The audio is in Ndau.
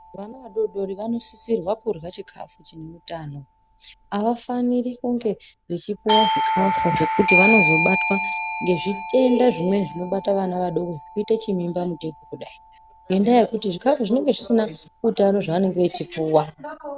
Vana vadodori vanosisirwa kurya chikafu chine utano. Havafaniri kunge vachipuva zvikafu zvekuti vanozobatwa ngezvitenda zvinobata vana vadoko. Zvekuita chimimba mutekwa kudai ngendaa zvikafu zvinenga zvisina utano zvevanenge echipuva.